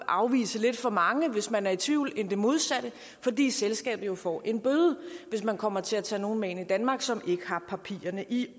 afvise lidt for mange hvis man er i tvivl end det modsatte fordi selskabet får en bøde hvis man kommer til at tage nogle med ind i danmark som ikke har papirerne i